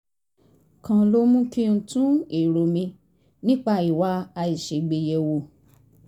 kan ló mú kí n tún èrò mi nípa ìwà àìṣègbè yẹ̀ wò